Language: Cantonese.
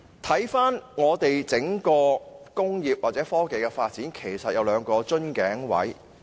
香港工業或科技發展有兩個瓶頸位。